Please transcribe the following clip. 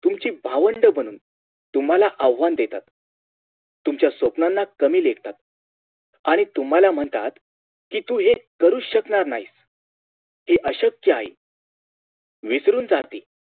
तुमची भावंड बनून तुम्हाला आव्हान देतात तुमच्या स्वप्नांना कमी लेखतात आणि तुम्हाला म्हणतात कि तू हे करूच शकणार नाहीस ते अश्यक्य आहे विचलून जाते